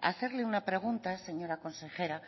a hacerle una pregunta señora consejera